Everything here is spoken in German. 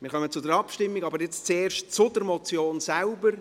Wir kommen zur Abschreibung, aber jetzt zuerst über die Motion selbst.